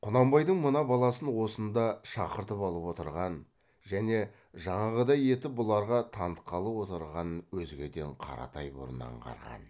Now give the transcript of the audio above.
құнанбайдың мына баласын осында шақыртып алып отырған және жаңағыдай етіп бұларға танытқалы отырғанын өзгеден қаратай бұрын аңғарған